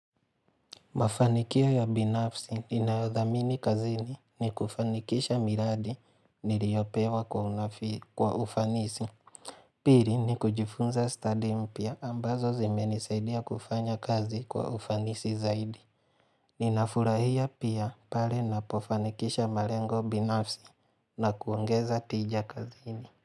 Mafanikio ya binafsi ninayodhamini kazini ni kufanikisha miradi niliyopewa kwa ufanisi. Pili ni kujifunza stadi mpya ambazo zimenisaidia kufanya kazi kwa ufanisi zaidi. Ninafurahia pia pale napofanikisha malengo binafsi na kuongeza tija kazini.